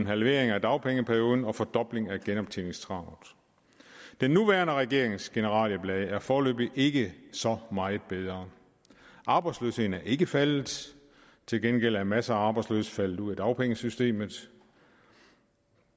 halvering af dagpengeperioden og en fordobling af genoptjeningskravet den nuværende regerings generalieblad er foreløbig ikke så meget bedre arbejdsløsheden er ikke faldet til gengæld er masser af arbejdsløse faldet ud af dagpengesystemet